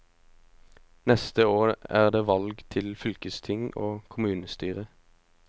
Neste år er det valg til fylkesting og kommunestyre.